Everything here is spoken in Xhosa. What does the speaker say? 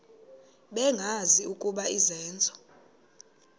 bengazi ukuba izenzo